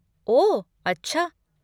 ओह अच्छा।